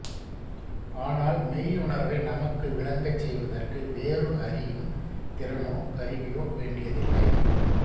ஆனால் மெய்யுணர்வை நமக்கு விளங்கச் செய்வதற்கு வேறு அறியும் திறனோ கருவியோ வேண்டியதில்லை